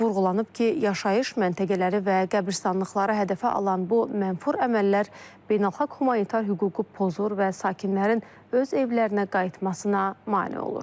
Vurğulanıb ki, yaşayış məntəqələri və qəbiristanlıqları hədəfə alan bu mənfur əməllər beynəlxalq humanitar hüququ pozur və sakinlərin öz evlərinə qayıtmasına mane olur.